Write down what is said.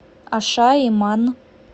ашаиман